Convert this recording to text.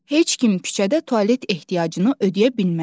Heç kim küçədə tualet ehtiyacını ödəyə bilməz.